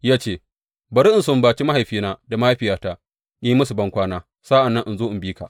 Ya ce, Bari in sumbace mahaifina da mahaifiyata, in yi musu bankwana, sa’an nan in zo in bi ka.